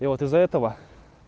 и вот из-за этого